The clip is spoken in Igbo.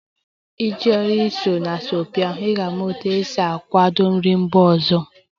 Iji soro na asọmpi ahụ, ị ga-ama otú e si akwadebe nri mba ọzọ